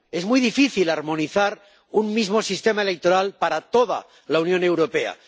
Es muy difícil armonizar un mismo sistema electoral para toda la Unión Europea.